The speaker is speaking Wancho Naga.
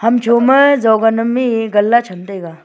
kam cho ma jovan am e ganla chm taga.